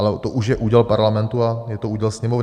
Ale to už je úděl Parlamentu a je to úděl Sněmovny.